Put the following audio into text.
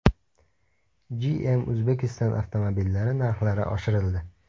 GM Uzbekistan avtomobillari narxlari oshirildi.